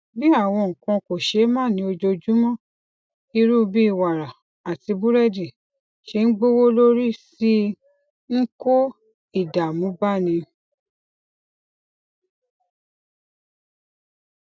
bí àwọn nǹkan kòṣeémánìí ojoojúmó irú bí wàrà àti búrédì ṣe ń gbówó lórí sí i ń kó ìdààmú báni